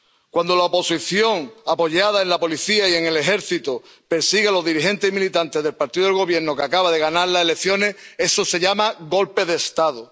Cuando la oposición, apoyada en la policía y en el ejército, persigue a los dirigentes y militantes del partido del Gobierno, que acaba de ganar las elecciones, eso se llama golpe de Estado.